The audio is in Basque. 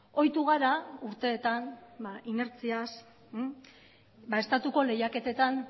ohitu gara urteetan inertziaz estatuko lehiaketetan